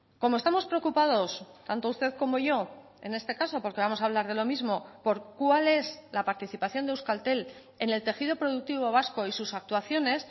como estamos preocupados tanto usted como yo en este caso porque vamos a hablar de lo mismo por cuál es la participación de euskaltel en el tejido productivo vasco y sus actuaciones